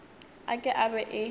a ka e be e